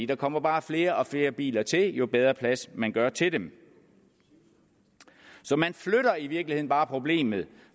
der kommer bare flere og flere biler til jo bedre plads man gør til dem så man flytter i virkeligheden bare problemet